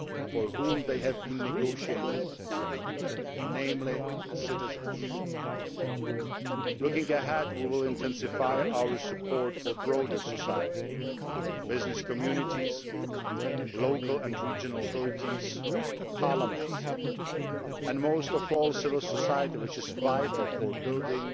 for whom they have been negotiated namely the citizens. Looking ahead, we will intensify our support for broader society business communities, local and regional authorities, parliaments and, most of all, civil society which is vital for building